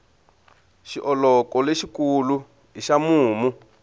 xioloko lexi kulu i xa mumu